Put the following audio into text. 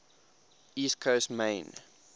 east coast maine